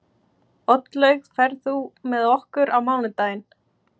Oddlaug, ferð þú með okkur á mánudaginn?